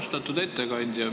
Austatud ettekandja!